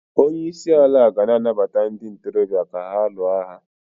Onye isi ala ga-ana gbata ndị ntorobịa ka ha lụọ agha